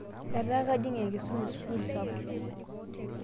etaa kajing' enkisuma e sukul sapuk,